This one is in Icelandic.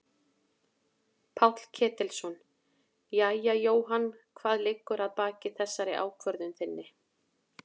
Páll Ketilsson: Jæja Jóhann hvað liggur að baki þessari ákvörðun þinni?